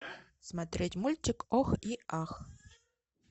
смотреть мультик ох и ах